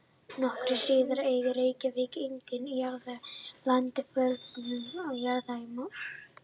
Nokkru síðar eignaðist Reykjavík einnig jarðhitaréttindi í landi fjölmargra jarða í Mosfellssveit.